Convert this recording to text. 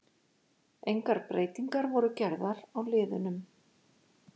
Engar breytingar voru gerðar á liðunum.